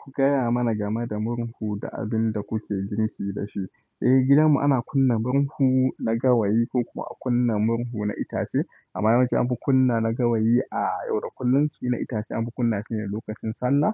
Ku gaya mana game da murhu da abin da kuke girki da shi. Eh, gidanmu ana kunna murhu na gawayi ko kuma a kunna murhu na itace. Amma yawanci an fi kunna na gawayi a yau da kullum, shi na itace an fi kunna shi ne lokacin Sallah.